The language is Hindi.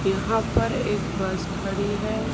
यहां पर एक बस खड़ी है।